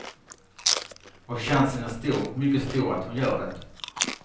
Och chansen är stor, mycket stor att hon gör det.